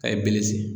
A ye bere sen